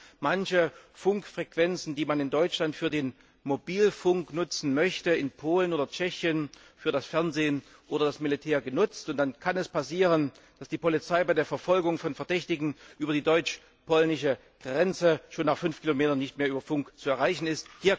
Da werden manche Funkfrequenzen, die man in Deutschland für den Mobilfunk nutzen möchte, in Polen oder Tschechien für das Fernsehen oder das Militär genutzt, und dann kann es passieren, dass die Polizei bei der Verfolgung von Verdächtigen über die deutsch polnische Grenze schon nach 5 km nicht mehr über Funk zu erreichen ist.